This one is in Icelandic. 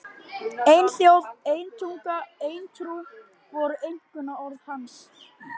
Ein þjóð, ein tunga, ein trú! voru einkunnarorð hans.